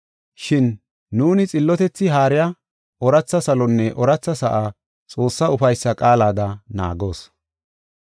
Shin nuuni xillotethi haariya ooratha salonne ooratha sa7a Xoossaa ufaysa qaalada naagoos.